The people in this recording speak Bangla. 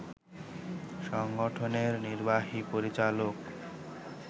সংগঠনের নির্বাহী পরিচালক